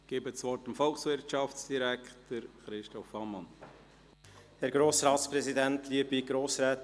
Ich erteile dem Volkswirtschaftsdirektor, Christoph Ammann, das Wort.